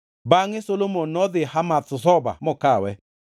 Bangʼe Solomon nodhi Hamath Zoba mokawe.